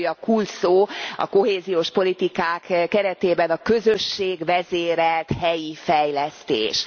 A legújabb kulcsszó a kohéziós politikák keretében a közösségvezérelt helyi fejlesztés.